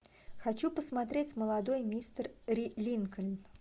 хочу посмотреть молодой мистер линкольн